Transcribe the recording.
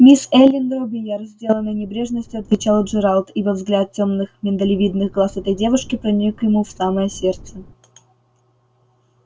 мисс эллин робийяр с деланной небрежностью отвечал джералд ибо взгляд тёмных миндалевидных глаз этой девушки проник ему в самое сердце